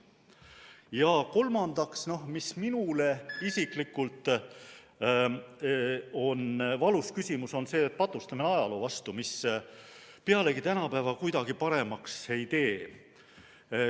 Ja kolmandaks, mis minule isiklikult on valus küsimus, on see patustamine ajaloo vastu, mis pealegi tänapäeva kuidagi paremaks ei tee.